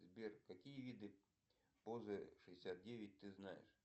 сбер какие виды позы шестьдесят девять ты знаешь